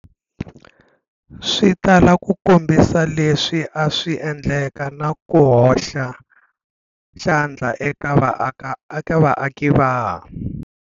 Swi tala ku kombisa leswi a swi endleke na ku hoxa xandla eka vaaki va.